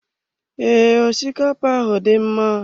Ee, osikapa ahụ dị mma.